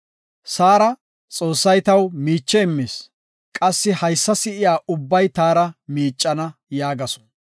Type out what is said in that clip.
Saara, “Xoossay taw miiche immis; qassi haysa si7iya ubbay taara miicana” yaagasu.